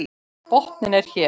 Botninn er hér!